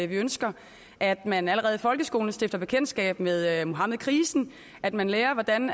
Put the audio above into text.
vi ønsker at man allerede i folkeskolen stifter bekendtskab med muhammedkrisen at man lærer hvordan